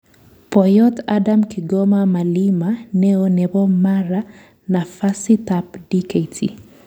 Poiyot Adam Kigoma Malima neoo nepo Mara nafasit ap Dkt